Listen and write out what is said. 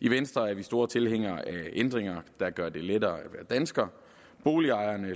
i venstre er vi store tilhængere af ændringer der gør det lettere at være dansker boligejerne